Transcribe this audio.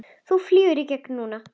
Þú flýgur í gegn núna!